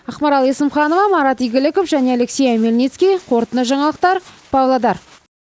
ақмарал есімханова марат игіліков және алексей омельницкий қорытынды жаңалықтар павлодар